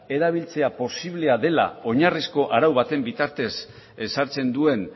posiblea dela oinarrizko arau baten bitartez ezartzen duen